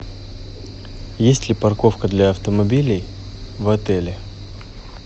есть ли парковка для автомобилей в отеле